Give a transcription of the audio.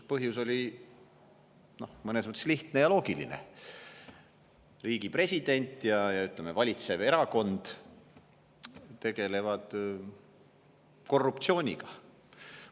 Põhjus oli mõnes mõttes lihtne ja loogiline: riigi president ja valitsev erakond tegelevad korruptsiooniga.